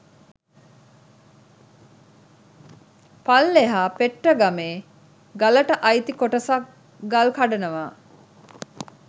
පල්ලෙහා පෙට්ටගම් ගලට අයිති කොටසක් ගල් කඩනවා.